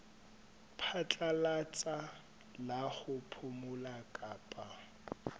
phatlalatsa la ho phomola kapa